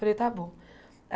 Falei, está bom.